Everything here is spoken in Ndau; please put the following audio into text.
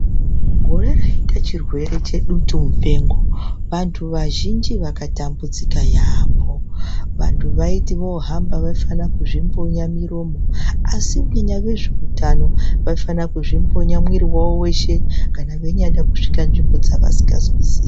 Gore raita chirwere chedutu mupengo vantu vazhinji vakatambudzika yambo, vantu vaiti vohamba vafana kuzvimbunya muromo asi vezveutano vaifana kuzvimbunya mwiri wawo weshe kana veinyada kusvika munzvimbo dzevasingazwisisi.